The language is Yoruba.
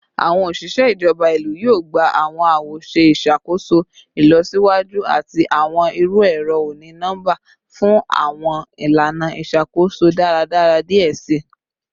Awọn oṣiṣẹ ijọba ilu yoo gba awọn awoṣe iṣakoso ilọsiwaju ati awọn iru ẹrọ oni-nọmba fun awọn ilana iṣakoso daradara diẹ sii